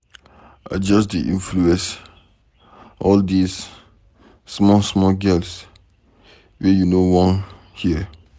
I just dey Influence all dis small small girls wey no wan hear.